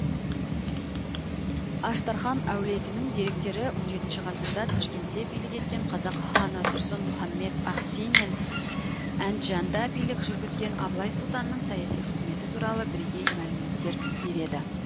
аштархан әулетінің деректері он жетінші ғасырда ташкентте билік еткен қазақ ханы тұрсын мұхаммед ахси мен әнджанда билік жүргізген абылай сұлтанның саяси қызметі туралы бірегей мәліметтер береді